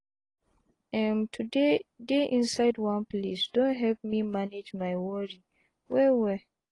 emm to dey dey inside one place don help me manage my wori well well.